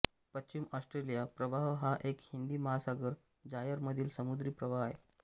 पश्चिम ऑस्ट्रेलिया प्रवाह हा एक हिंदी महासागर जायर मधील समुद्री प्रवाह आहे